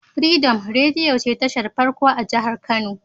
Freedom rediyo ce tashar farko a jahar kano